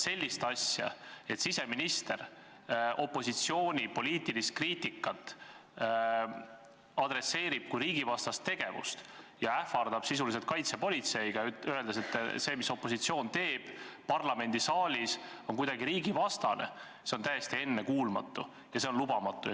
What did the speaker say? See, et siseminister käsitab opositsiooni poliitilist kriitikat kui riigivastast tegevust ja ähvardab sisuliselt kaitsepolitseiga, öeldes, et see, mis opositsioon teeb parlamendisaalis, on kuidagi riigivastane – see on täiesti ennekuulmatu ja see on lubamatu.